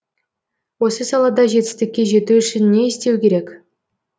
осы салада жетістікке жету үшін не істеу керек